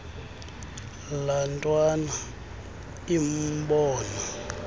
laa ntwana imbona